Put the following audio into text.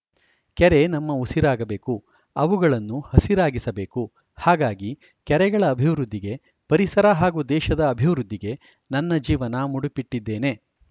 ಕೆರೆ ನಮ್ಮ ಉಸಿರಾಗಬೇಕು ಅವುಗಳನ್ನು ಹಸಿರಾಗಿಸಬೇಕು ಹಾಗಾಗಿ ಕೆರೆಗಳ ಅಭಿವೃದ್ಧಿಗೆ ಪರಿಸರ ಹಾಗೂ ದೇಶದ ಅಭಿವೃದ್ಧಿಗೆ ನನ್ನ ಜೀವನ ಮೂಡಿಪಿಟ್ಟಿದ್ದೇನೆ